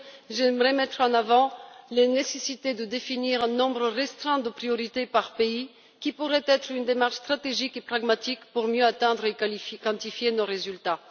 J'aimerais mettre en avant la nécessité de définir un nombre restreint de priorités par pays, ce qui pourrait être une démarche stratégique et pragmatique pour mieux atteindre et quantifier nos résultats.